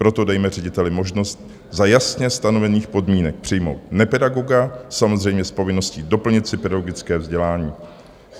Proto dejme řediteli možnost za jasně stanovených podmínek přijmout nepedagoga, samozřejmě s povinností doplnit si pedagogické vzdělání.